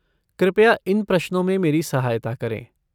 कृपया इन प्रश्नों में मेरी सहायता करें।